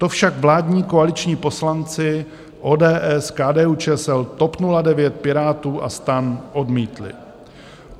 To však vládní koaliční poslanci ODS, KDU-ČSL, TOP 09, Pirátů a STAN odmítli.